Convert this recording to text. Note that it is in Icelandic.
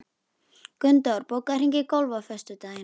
Gunndór, bókaðu hring í golf á föstudaginn.